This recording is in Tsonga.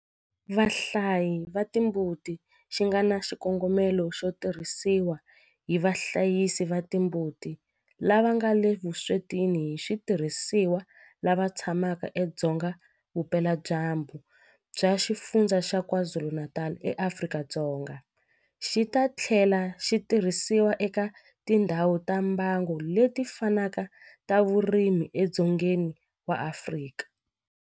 Vahlayisi va timbuti xi nga na xikongomelo xo tirhisiwa hi vahlayisi va timbuti lava nga le vuswetini hi switirhisiwa lava tshamaka edzonga vupeladyambu bya Xifundzha xa KwaZulu-Natal eAfrika-Dzonga, xi ta tlhela xi tirhisiwa eka tindhawu ta mbango leti fanaka ta vurimi edzongeni wa Afrika.